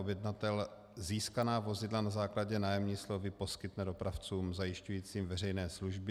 Objednatel získaná vozidla na základě nájemní smlouvy poskytne dopravcům zajišťujícím veřejné služby.